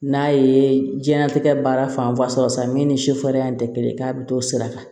N'a ye diɲɛnatigɛ baara fanba sɔrɔ sisan min ni sofɛriya in tɛ kelen ye k'a bɛ t'o sira kan